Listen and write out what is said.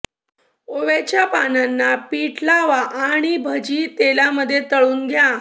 ओव्याच्या पानांना पीठ लावा आणि भजी तेलामध्ये तळून घ्या